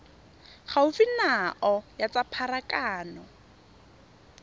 gaufi nao ya tsa pharakano